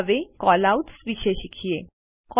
હવે કેલઆઉટ્સ વિશે શીખીએ